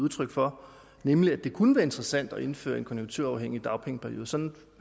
udtryk for nemlig at det kunne være interessant at indføre en konjunkturafhængig dagpengeperiode sådan